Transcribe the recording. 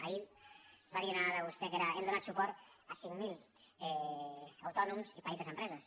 ahir va dir una dada vostè que era hem donat suport a cinc mil autònoms i petites empreses